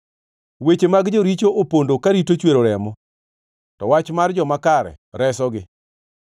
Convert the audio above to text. Weche mag joricho opondo karito chwero remo, to wach mar joma kare resogi.